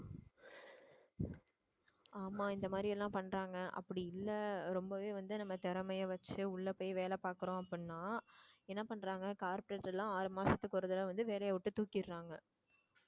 ஆமா இந்த மாதிரி எல்லாம் பண்றாங்க அப்படி இல்லை ரொம்பவே வந்து நம்ம திறமைய வச்சு உள்ள போய் வேலை பார்க்கிறோம் அப்படின்னா என்ன பண்றாங்க corporate எல்லாம் ஆறு மாசத்துக்கு ஒரு தடவை வந்து வேலையை விட்டு தூக்கிடுறாங்க